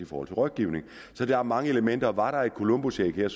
for rådgivning så der er mange elementer og var der et columbusæg her